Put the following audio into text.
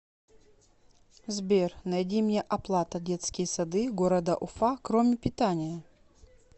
сбер найди мне оплата детские сады города уфа кроме питания